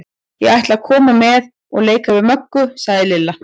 Ég ætla að koma með og leika við Möggu, sagði Lilla.